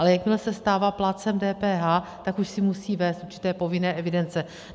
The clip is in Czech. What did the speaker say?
Ale jakmile se stává plátcem DPH, tak už si musí vést určité povinné evidence.